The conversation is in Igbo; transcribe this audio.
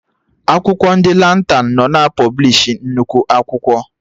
Akwụkwọ ndị Lantan nọ na pọblishi nnukwu akwụkwọ